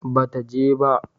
ba ta je ba